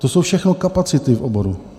To jsou všechno kapacity v oboru.